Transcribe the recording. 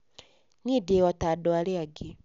Niĩ ndĩ o ta andũ arĩa angĩ.